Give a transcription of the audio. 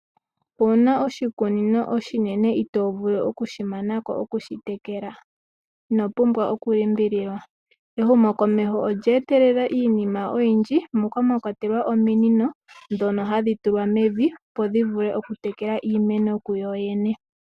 Owu na oshikunino oshinene itoo vulu oku shi mana ko oku shi tekela? Ino pumbwa okulimbililwa. Ehumokomeho olyeetelela iinima oyindji moka mwa kwatelwa ominino ndhono hadhi tulwa mevi, opo dhi vule okutekela iimeno ku dho dhene.